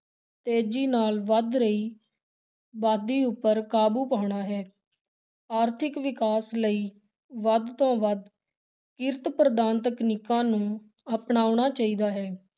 ਤੇਜ਼ੀ ਨਾਲ ਵੱਧ ਰਹੀ ਅਬਾਦੀ ਉੱਪਰ ਕਾਬੂ ਪਾਉਣਾ ਹੈ, ਆਰਥਿਕ ਵਿਕਾਸ ਲਈ ਵੱਧ ਤੋਂ ਵੱਧ ਕਿਰਤ-ਪ੍ਰਧਾਨ ਤਕਨੀਕਾਂ ਨੂੰ ਅਪਣਾਉਣਾ ਚਾਹੀਦਾ ਹੈ।